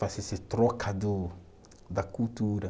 Faz esse troca do da cultura.